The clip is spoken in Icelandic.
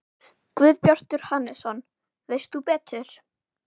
Guðbjartur Hannesson: Veist þú betur?